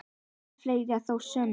Heldur fleira þó á sumrin.